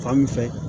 Fan min fɛ